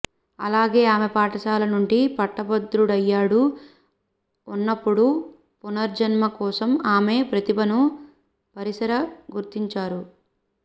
అలాగే ఆమె పాఠశాల నుండి పట్టభద్రుడయ్యాడు ఉన్నప్పుడు పునర్జన్మ కోసం ఆమె ప్రతిభను పరిసర గుర్తించారు